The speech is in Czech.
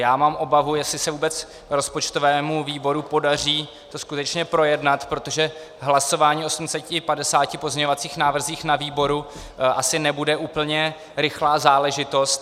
Já mám obavu, jestli se vůbec rozpočtovému výboru podaří to skutečně projednat, protože hlasování o 850 pozměňovacích návrzích na výboru asi nebude úplně rychlá záležitost.